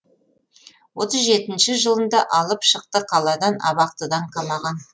отыз жетінші жылында алып шықты қаладан абақтыдан қамаған